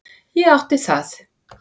Ég átti það.